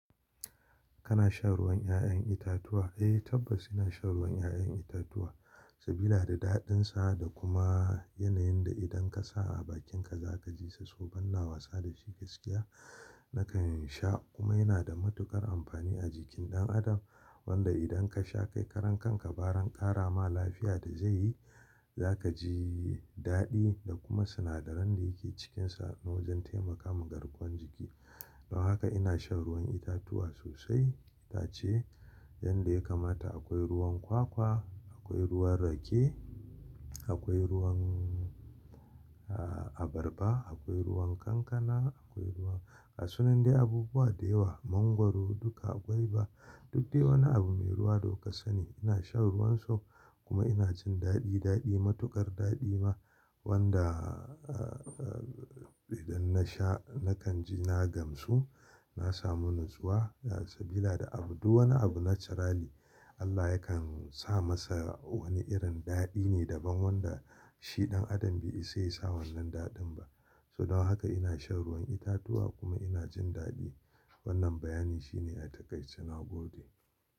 Kana shan ruwan 'ya'yan itatuwa? Eh tabbas ina shan ruwan 'ya'yan itatuwa sabida da daɗinsa da kuma yanayin da idan ka sa a bakinka za ka ji sa so ban na wasa da shi gaskiya. Nakan sha kuma yana da matuƙar amfani a jikin ɗan adam wanda idan ka sha kai karen kanka baran ƙara ma lafiya da zai yi, za ka ji daɗi da kuma sinadaran da yake cikinsa wajen taimakama garkuwan jiki. Don haka ina shan ruwan itatuwa sosai itace, yanda ya kamata akwai ruwan kwakwa, akwai ruwan rake, akwai ruwan a-abarba, akwai ruwan kankana, akwai ruwan ga sunan dai abubuwa da yawa mangwaro duka gwaiba. Duk dai wani abu mai ruwa da ku ka kasani ne ina shan ruwan su kuma ina jin daɗi, daɗi matuƙar daɗi ma wanda a a idan na sha nakan ji na gamsu, na samu natsuwa sabida abu duk wani abu naturally Allah yakan sa masa wani irin daɗi ne daban wanda shi ɗan adam bai isa ya sa wannan daɗin ba. Toh don haka ina shan ruwan itatuwa kuma ina jin daɗi wannan bayani shine a takaice nagode.